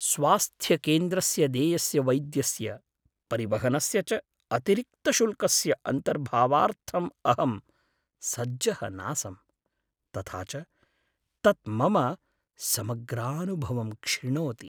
स्वास्थ्यकेन्द्रस्य देयस्य वैद्यस्य, परिवहनस्य च अतिरिक्तशुल्कस्य अन्तर्भावार्थम् अहं सज्जः नासम्, तथा च तत् मम समग्रानुभवं क्षिणोति।